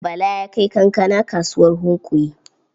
Bala ya kai kankana kasuwar Hunkuyi.